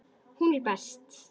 Hún er best.